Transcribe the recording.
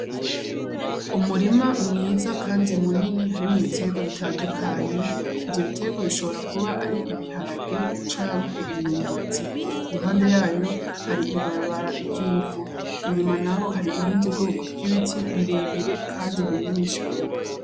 Umurima mwiza, kandi munini harimwo bitego bitandukanyi ivyo bitero bishobora kuba ari ibiharage cankwe imyumbazi iruhande yayo hari ibibarabara iryivu inyuma na ho hari ibindi bwoko vw'ibiti birebire, kandi binini canke.